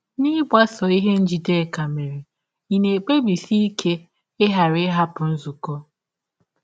N’ịgbasọ ihe Njideka mere, ị̀ na - ekpebisi ike ịghara ịhapụ nzụkọ?